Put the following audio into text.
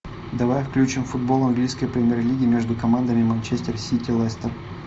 давай включим футбол английской премьер лиги между командами манчестер сити лестер